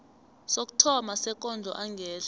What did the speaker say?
sokuthoma sekondlo engehla